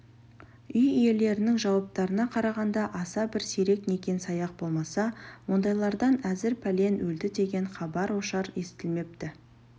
үй иелерінің жауаптарына қарағанда аса бір сирек некен-саяқ болмаса ондайлардан әзір пәлен өлді деген хабар-ошар естілмепті